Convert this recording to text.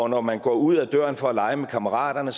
når man går ud ad døren for at lege med kammerater